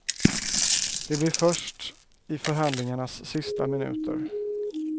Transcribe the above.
Det blir först i förhandlingarnas sista minuter.